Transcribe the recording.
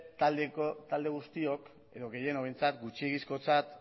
talde guztiok edo gehienok behintzat gutxiegizkotzat